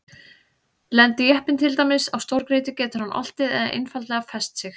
Lendi jeppinn til dæmis á stórgrýti getur hann oltið eða einfaldlega fest sig.